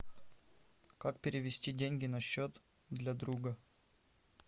как перевести деньги на счет для друга